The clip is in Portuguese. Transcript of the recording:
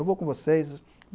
''Eu vou com vocês.''